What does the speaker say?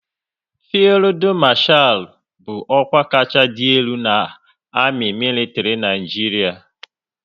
Fildu Marchal bụ ọkwa kacha dị elu n' amị militri Naijiria